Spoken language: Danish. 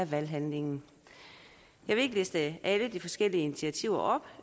valghandlingen jeg vil ikke liste alle de forskellige initiativer op